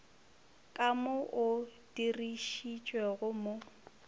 ka mo o dirišitšwego mo